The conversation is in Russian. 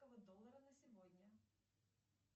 доллара на сегодня